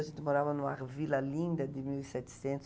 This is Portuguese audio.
A gente morava em uma vila linda de mil e setecentos,